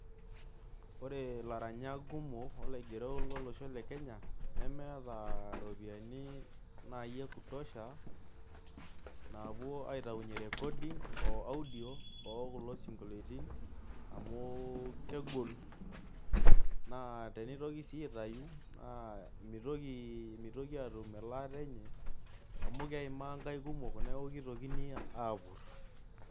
Ore ilaranyak kumok olaigerok lolosho le Kenya nemeeta iropiyiani naai ekutosha naapuo aitayunyie recording o audio oo kulo singolioitin amu kegol naa tenitoki sii aitaau naa mitoki aatum elaata enye amu keimaa nkaik kumok neeku kitokini aapurr.